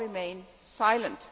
all remain silent.